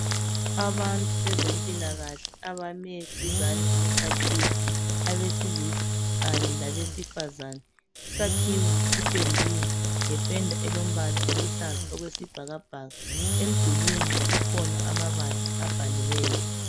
Abantu bezempilakahle abame duzani kwesakhiwo abesilisa kanye labesifazana. Isakhiwo sipendiwe ngependa elombala oluhlaza okwesibhakabhaka. Emdulwini kukhona amabala abhaliweyo.